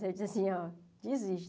Aí eu disse assim, ó, desisto.